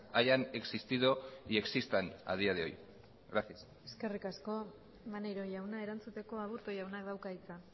hayan existido y existan a día de hoy gracias eskerrik asko maneiro jauna erantzuteko aburto jaunak dauka hitza